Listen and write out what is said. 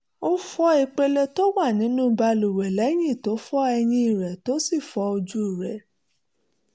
ó fọ ìpele tó wà nínú balùwẹ̀ lẹ́yìn tó fọ eyín rẹ̀ tó sì fọ ojú rẹ̀